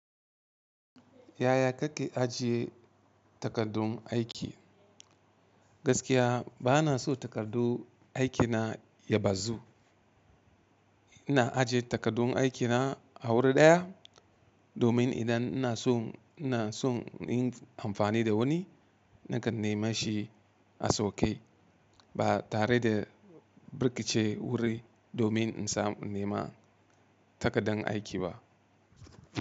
Yaya kake ajiye takardun aiki? Gaskiya bana so takardu aikina ya bazu. Ina ajiye takardun aikina a wuri ɗaya domin idan ina so, ina son in yi amfani da wani nakan nema shi a sauƙi, ba tare da birƙice wuri domin in nema takardan aiki ba.